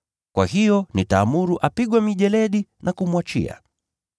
Kwa hiyo nitaamuru apigwe mijeledi na kumwachia.” [